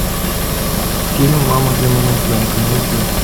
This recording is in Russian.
фильм мама для мамонтенка найди